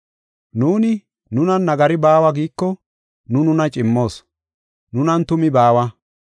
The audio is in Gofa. Nuuni, nunan nagari baawa giiko nu nuna cimmoos; nunan tumi baawa.